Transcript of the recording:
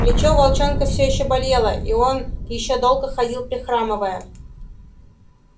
плечо у волчонка все ещё болело и он ещё долго ходил прихрамывая